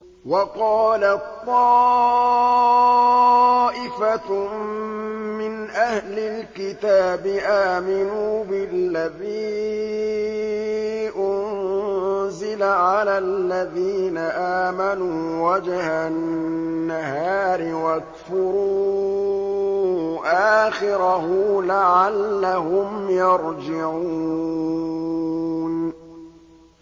وَقَالَت طَّائِفَةٌ مِّنْ أَهْلِ الْكِتَابِ آمِنُوا بِالَّذِي أُنزِلَ عَلَى الَّذِينَ آمَنُوا وَجْهَ النَّهَارِ وَاكْفُرُوا آخِرَهُ لَعَلَّهُمْ يَرْجِعُونَ